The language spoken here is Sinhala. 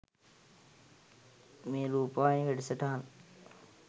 මේ රුපවාහිනී වැඩසටහන්